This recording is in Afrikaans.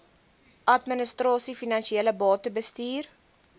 administrasie finansies batebestuur